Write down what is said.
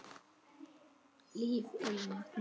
Líf í vatni.